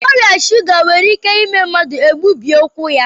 Ọrịa shuga nwere ike ime mmadụ egbubie ụkwụ ya